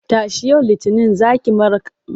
Tashi! yau Litinin za ki makara.